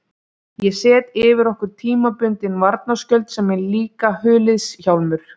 Ég set yfir okkur tímabundinn varnarskjöld sem er líka huliðshjálmur.